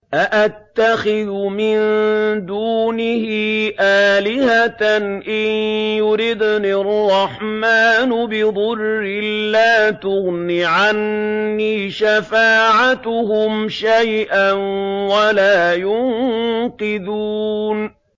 أَأَتَّخِذُ مِن دُونِهِ آلِهَةً إِن يُرِدْنِ الرَّحْمَٰنُ بِضُرٍّ لَّا تُغْنِ عَنِّي شَفَاعَتُهُمْ شَيْئًا وَلَا يُنقِذُونِ